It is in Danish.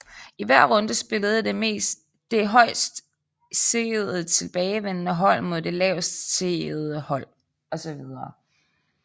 I hver runde spillede det højst seedede tilbageværende hold mod det laveste seedede hold osv